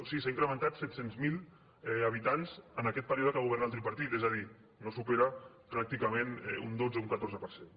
sí s’ha incrementat en set cents miler habitants en aquest període que governa el tripartit és a dir no supera pràcticament un dotze un catorze per cent